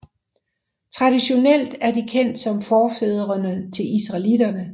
Traditionelt er de kendt som forfædrene til israelitterne